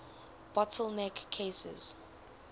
bottle neck cases